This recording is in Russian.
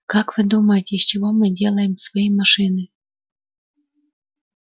как вы думаете из чего мы делаем свои машины